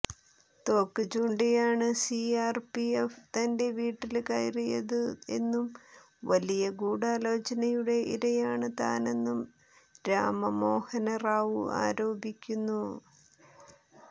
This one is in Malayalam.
തോക്ക് ചൂണ്ടിയാണ് സിആര്പിഎഫ് തന്റെ വീട്ടില് കയറിയതു എന്നും വലിയ ഗൂഢാലോചനയുടെ ഇരയാണ് താനെന്നും രാമ മോഹന റാവു ആരോപിക്കുന്നു